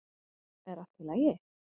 Er allt í lagi?